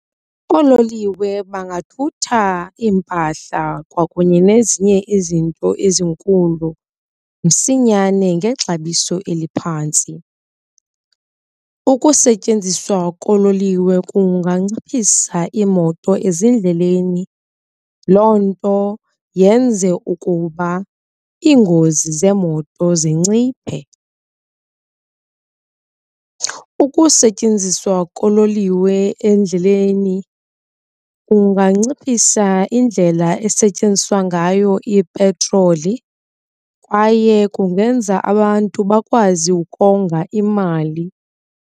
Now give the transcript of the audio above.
Oololiwe bangathutha iimpahla kwakunye nezinye izinto ezinkulu msinyane ngexabiso eliphantsi. Ukusetyenziswa koololiwe kunganciphisa iimoto ezindleleni loo nto yenze ukuba iingozi zeemoto zinciphe. Ukusetyenziswa kololiwe endleleni kunganciphisa indlela esetyenziswa ngayo ipetroli kwaye kungenza abantu bakwazi ukonga imali.